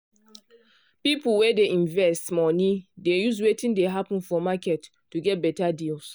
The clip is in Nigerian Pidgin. people wey dey invest money dey use wetin dey happen for market to get better deals.